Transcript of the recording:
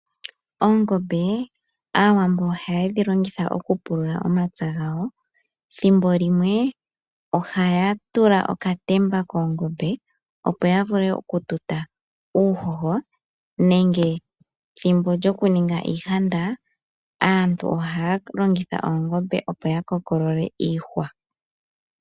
Oongombe, aawambo ohaye dhi longitha oku pulula omapya gayo, thimbo limwe ohaya tula okatemba koongombe opo ya vule oku tuta uuhoho nenge thimbo lyoku ninga iihanda aantu ohaya longitha oogombe opo ya kokolole iihwa.